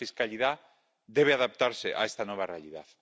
La fiscalidad debe adaptarse a esta nueva realidad.